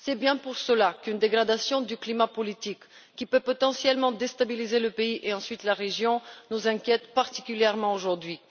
C'est précisément pour cela qu'une dégradation du climat politique, qui peut potentiellement déstabiliser le pays et, ensuite, la région, nous inquiète particulièrement aujourd'hui.